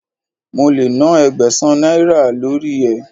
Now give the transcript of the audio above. Mo lè nán Ẹgbẹ̀sán náírà lórí ẹ.